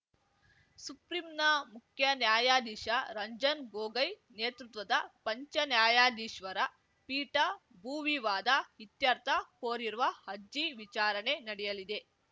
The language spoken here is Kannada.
ಸುಪ್ರಿಂನ ಮುಖ್ಯ ನ್ಯಾಯಾಧೀಶ ರಂಜನ್‌ ಗೊಗೋಯ್‌ ನೇತೃತ್ವದ ಪಂಚ ನ್ಯಾಯಾಧೀಶ್ವರ ಪೀಠ ಭೂವಿವಾದ ಇತ್ಯರ್ಥ ಕೋರಿರುವ ಅರ್ಜಿ ವಿಚಾರಣೆ ನಡೆಯಲಿದೆ